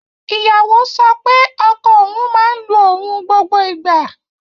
Ìyàwó sọ pé ọkọ òun máa ń lu òun gbogbo ìgbà